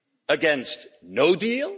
against no deal